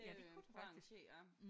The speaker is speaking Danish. Ja det kunne det faktisk